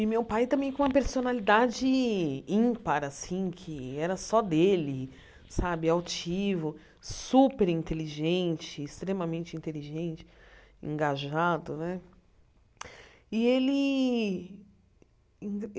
E meu pai também com uma personalidade ímpar assim, que era só dele, sabe altivo, super inteligente, extremamente inteligente, engajado né. E ele